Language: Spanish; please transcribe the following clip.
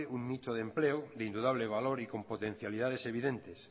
un nicho de empleo de indudable valor y con potencialidades evidentes